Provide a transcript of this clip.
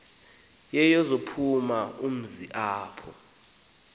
yeyokuchaza umzi apho